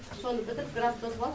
соны бітіріп грантты ұтып алдым